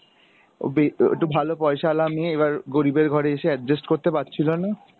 ও বে, একটু ভালো পয়সাওয়ালা মেয়ে এবার গরীবের ঘরে এসে adjust করতে পারছিলো না।